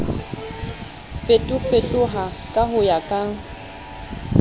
fetofetoha ka ho ya ka